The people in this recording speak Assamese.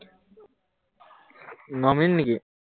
ন মিনিট নেকি